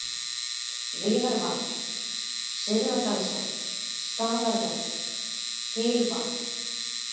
Viðarvatn, Syðradalsvatn, Starvötn, Hylvað